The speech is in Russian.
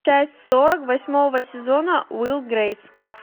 часть сорок восьмого сезона уилл и грейс